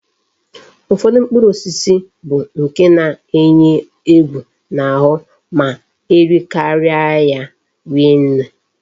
Ufodu mkpụrụ osisi bu nke na eyi egwu na ahu ma erikaria ya rie nne